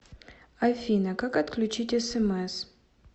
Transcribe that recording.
афина как отключить смс